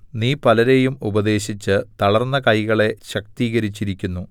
നീ പലരെയും ഉപദേശിച്ച് തളർന്ന കൈകളെ ശക്തീകരിച്ചിരിക്കുന്നു